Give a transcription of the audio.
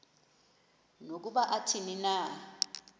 nokuba athini na